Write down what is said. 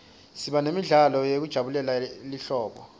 siba nemidlalo yekujabulela lihlobo